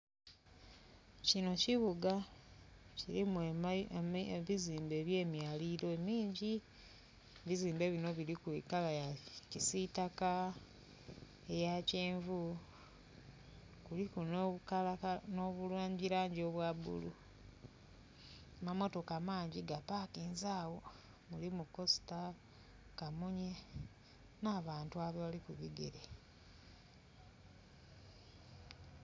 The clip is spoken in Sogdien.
Kino kibuga kilimu ebizimbe ebye myalilo emingi. Ebizimbe bino biliku kala ya kisitaka, eya kyenvu kuliku no bulangi langi obwa bulu. Mamotoka mangi gapakinze agho mulimu kosita, kamunye na bantu abali ku bigere.